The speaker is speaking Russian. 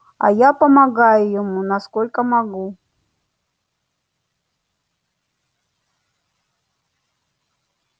а я помогаю ему насколько могу